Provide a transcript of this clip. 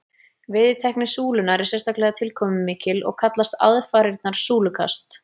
Veiðitækni súlunnar er sérstaklega tilkomumikil og kallast aðfarirnar súlukast.